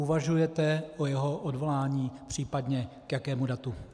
Uvažujete o jeho odvolání, případně k jakému datu?